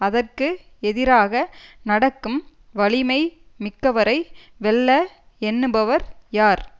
அதற்கு எதிராக நடக்கும் வலிமை மிக்கவரை வெல்ல எண்ணுபவர் யார்